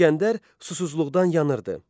İsgəndər susuzluqdan yanırdı.